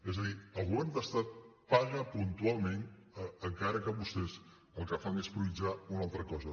és a dir el govern de l’estat paga puntualment encara que vostès el que fan és prioritzar una altra cosa